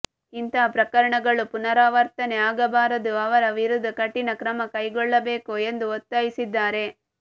ಇಂತಹ ಪ್ರಕರಣ ಗಳು ಪುನಾರವರ್ತನೆ ಆಗಬಾರದು ಅವರ ವಿರುದ್ದ ಕಠಿಣ ಕ್ರಮ ಕೈಕೊಳ್ಳಬೇಕುಎಂದು ಒತ್ತಾಯಿಸಿದ್ದಾರೆ